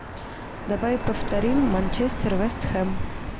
давай повторим манчестер вест хэм